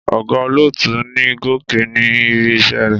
Ọ̀gá olótùú ni Gòkè ní ibi-iṣẹ́ rẹ̀.